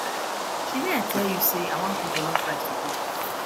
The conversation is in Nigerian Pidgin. shebi i tell you say i wan cook jollof rice today